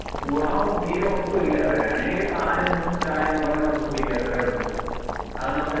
ഗുണം തീരെ ഒട്ടും ഇല്ല. വേണെങ്കിൽ ഒരു പാലെന്നും ചായയെന്നും പറഞ്ഞു നമുക്ക് കുടിക്കാം അത്രേ ഒള്ളു. അത് നമുക്ക് ടയ~